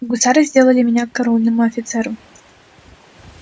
гусары сдалали меня караульному офицерам